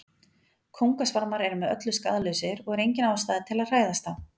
kóngasvarmar eru með öllu skaðlausir og er engin ástæða til að hræðast þá